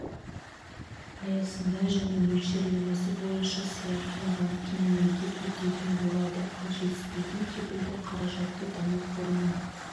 аясында және мөлшерлемесі бойынша сыйақыны банкке мемлекет өтейтін болады ал жетіспейтін кепілдік қаражатты даму қорының